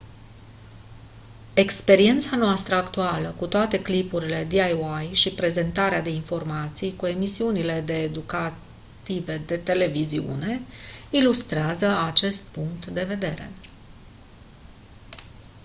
experiența noastră actuală cu toate clipurile diy și prezentarea de informații cu emisiunile de educative de televiziune ilustrează acest punct de vedere